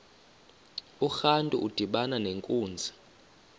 urantu udibana nenkunzi